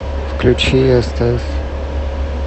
включи стс